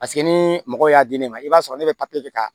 Paseke ni mɔgɔ y'a di ne ma i b'a sɔrɔ ne bɛ papiye kɛ ka